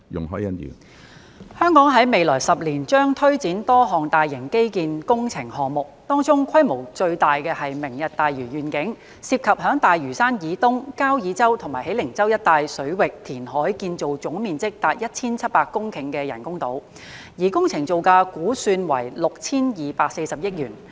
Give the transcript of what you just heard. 香港在未來10年將推展多項大型基建工程項目，當中規模最大是"明日大嶼願景"，涉及在大嶼山以東、交椅洲和喜靈洲一帶水域填海建造總面積達1700公頃的人工島，而工程造價估算為 6,240 億元。